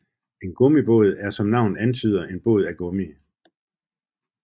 En gummibåd er som navnet antyder en båd af gummi